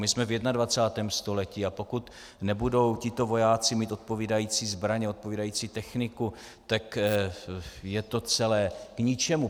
My jsme v 21. století, a pokud nebudou tito vojáci mít odpovídající zbraně, odpovídající techniku, tak je to celé k ničemu.